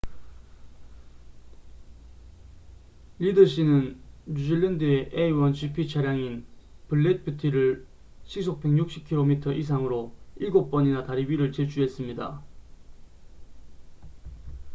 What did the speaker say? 리드 씨는 뉴질랜드의 a1gp 차량인 블랙 뷰티를 시속 160km 이상으로 일곱 번이나 다리 위를 질주했습니다